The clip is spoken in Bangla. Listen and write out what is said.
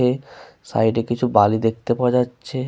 এহ সাইড এ কিছু বালি দেখতে পাওয়া যাচ্ছে।